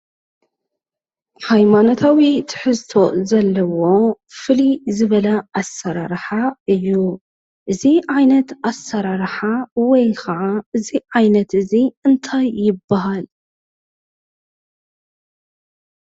ሃይማኖታዊ ትሕዝቶ ዘለዎ ፍልይ ዝበለ ኣሰራርሓ እዩ። እዚ ዓይነት ኣሰራርሓ ወይ ከዓ እዚ ዓይነት እዚ እንታይ ይበሃል?